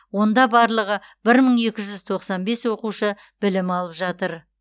онда барлығы бір мың екі жүз тоқсан бес оқушы білім алып жатыр